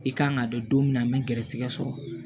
I kan ka dɔn min na an bɛ garisigɛ sɔrɔ